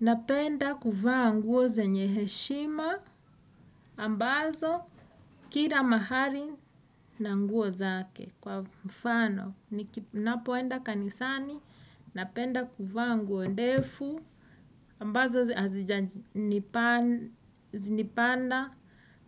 Napenda kuvaa nguo zenye heshima, ambazo kila mahali na nguo zake. Kwa mfano, napoenda kanisani, napenda kuvaa nguo ndefu, ambazo hazinipanda.